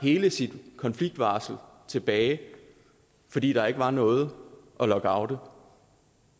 hele sit konfliktvarsel tilbage fordi der ikke var noget at lockoute